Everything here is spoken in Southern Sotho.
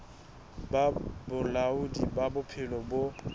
ba bolaodi ba bophelo bo